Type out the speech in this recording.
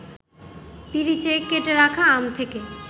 পিরিচে কেটে রাখা আম থেকে